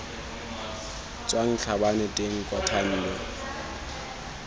tswang tlhabane teng kwa thando